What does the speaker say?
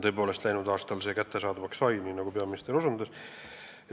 Tõepoolest, läinud aastal see kättesaadavaks sai, nii nagu peaminister osutas.